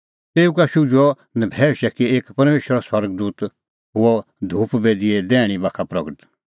तेऊ का शुझुअ नभैऊशै कि एक परमेशरो स्वर्ग दूत हुअ धूप बेदीए दैहणीं बाखा प्रगट